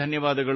ನಮಸ್ಕಾರ